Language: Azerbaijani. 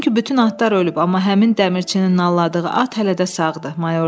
Çünki bütün atlar ölüb, amma həmin dəmirçinin nalladığı at hələ də sağdır,